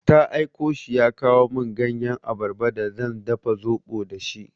Ta aiko shi ya kawo min ganyan abarba d zan dafa zaɓo da shi.